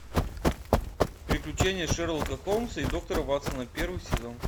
приключения шерлока холмса и доктора ватсона первый сезон